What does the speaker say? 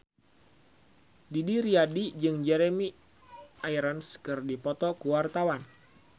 Didi Riyadi jeung Jeremy Irons keur dipoto ku wartawan